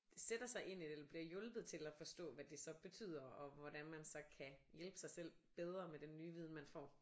Sætter sig ind i det eller bliver hjulpet til at forstå hvad det så betyder og hvordan man så kan hjælpe sig selv bedre med den nye viden man får